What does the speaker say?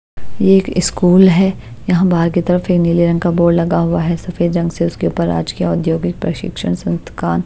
यह एक स्कूल है यहाँ बाहर की तरफ एक नीले रंग का बोर्ड लगा हुआ है सफेद रंग से उसके ऊपर राजकीय औद्योगिक प्रशिक्षण संस्थकान ।